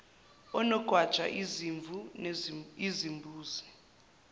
onogwaja izimvu izimbuzi